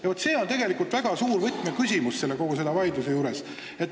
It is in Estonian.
Vaat see on tegelikult väga suur võtmeküsimus kogu selle vaidluse juures.